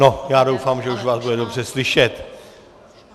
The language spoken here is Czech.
No, já doufám, že už vás bude dobře slyšet.